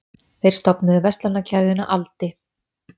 Þeir stofnuðu verslanakeðjuna Aldi.